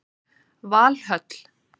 Valhöll